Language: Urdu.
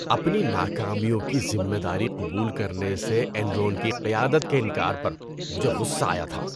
اپنی ناکامیوں کی ذمہ داری قبول کرنے سے اینرون کی قیادت کے انکار پر مجھے غصہ آیا تھا۔